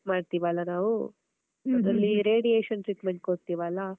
ಮಾಡ್ತೀವಲ್ಲ ನಾವೂ ಅದ್ರಲ್ಲಿ radiation treatment ಕೊಡ್ತಿವಲ್ಲ?